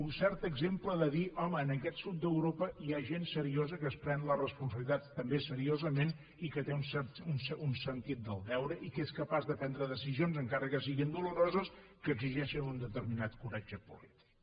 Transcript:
un cert exemple de dir home en aquest sud d’europa hi ha gent seriosa que es pren la responsabilitat també seriosament i que té un cert sentit del deure i que és capaç de prendre decisions encara que siguin doloroses que exigeixen un determinat coratge polític